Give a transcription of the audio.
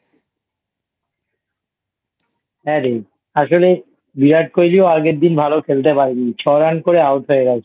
হ্যাঁ রে আসলে Virat Kohli ও আগের দিন ভালো খেলতে পারেনি ছ Run করে Out হয়ে গেছে